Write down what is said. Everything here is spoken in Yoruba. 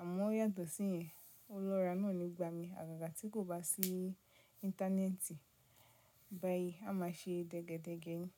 Àmọ yàtọ̀ sí yen, o lóra náà ni ìgbà mi. Àgàgà tí kò bá sí íńtánẹ́ẹ̀tì báyìí, a máa se dégedége ni.